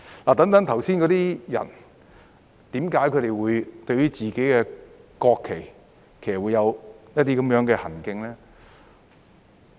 我剛才提到的人士，為何他們對自己的國旗有這樣的行徑呢？